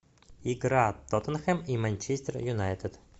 игра тоттенхэм и манчестер юнайтед